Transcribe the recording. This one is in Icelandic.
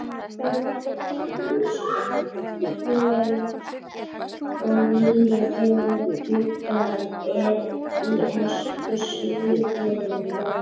Það má finna gamlar sögur og nýjar þegar gluggað er í ensku slúðurblöðin í dag.